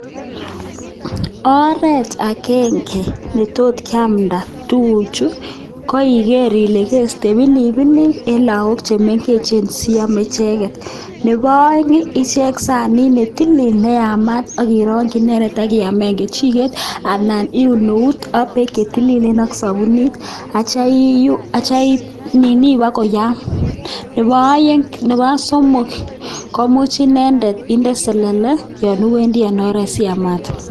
Preeti agenge netot kiamda tuguu Chuu keistoi pilipilyot akemeto koyam Akindele sole. siamate en oret aiamate